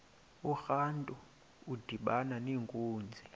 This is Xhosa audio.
urantu udibana nenkunzi